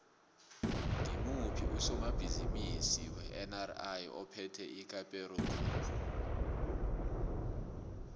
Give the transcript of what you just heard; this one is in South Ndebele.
ngimuphi usomabhizimisi wenri ophethe icaparo group